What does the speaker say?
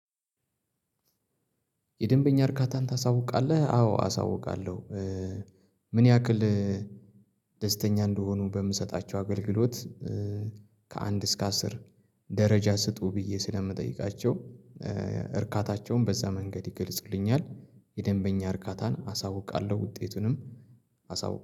የደንበኛ እርካታን ታሳውቃለህ አዎ አሳውቃለሁ። ምን ያክል? ደስተኛ እንደሆኑ በምሰጣቸው አገልግሎት ከአንድ እስከ አስር ደረጃ ስጡ ብዬ ስለምጠይቃቸው እርካታቸውን በዛ መንገድ ይገልጽልኛል። የደንበኛ እርካታን አሳውቃለሁ ውጤቱንም አሳውቃለሁ